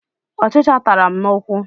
Ọchịcha tara m n'ụkwụ.